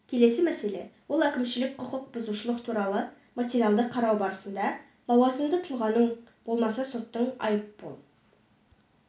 келесі мәселе ол әкімшілік құқық бұзушылық туралы материалды қарау барысында лауазымды тұлғаның болмаса соттың айыппұл